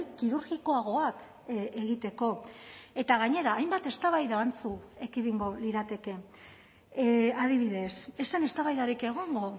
kirurgikoagoak egiteko eta gainera hainbat eztabaida antzu ekidingo lirateke adibidez ez zen eztabaidarik egongo